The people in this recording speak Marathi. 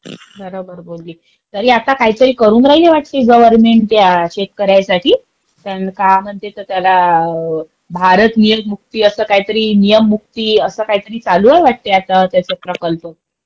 बरोबर बोलली. तरी आता काहीतरी करून राहिली आपली गव्हर्मेंट या शेतकऱ्यांसाठी. त्याला काय म्हणते तर त्याला भारतीय मुक्ती असं काहीतरी नियम मुक्ती असं काहीतरी चालू आहे वाटतं त्यांचा प्रकल्प.